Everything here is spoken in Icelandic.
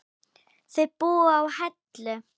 Þau búa á Hellu.